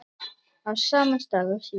Á sama stað og síðast.